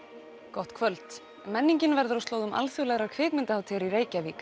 gott kvöld menningin verður á slóðum alþjóðlegrar kvikmyndahátíðar í Reykjavík